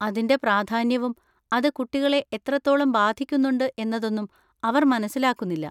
അതിൻ്റെ പ്രാധാന്യവും അത് കുട്ടികളെ എത്രത്തോളം ബാധിക്കുന്നുണ്ട് എന്നതൊന്നും അവർ മനസ്സിലാക്കുന്നില്ല.